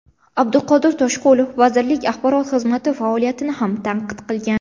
Abduqodir Toshqulov vazirlik axborot xizmati faoliyatini ham tanqid qilgan.